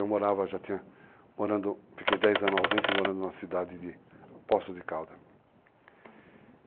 Eu morava, já tinha, morando, fiquei 10 anos ausente, morando numa cidade de Poços de Calda. Uhum.